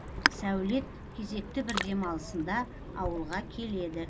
сәулет кезекті бір демалысында ауылға келеді